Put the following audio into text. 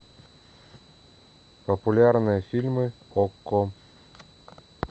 популярные фильмы окко